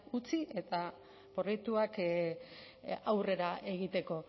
utzi eta proiektuak aurrera egiteko